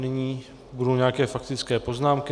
Nyní budou nějaké faktické poznámky.